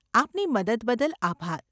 આપની મદદ બદલ આભાર.